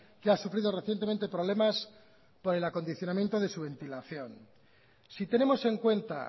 que ha sufrido recientemente problemas por el acondicionamiento de su ventilación si tenemos en cuenta